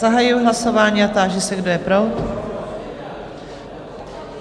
Zahajuji hlasování a táži se, kdo je pro?